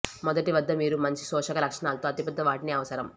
మొదటి వద్ద మీరు మంచి శోషక లక్షణాలతో అతిపెద్ద వాటిని అవసరం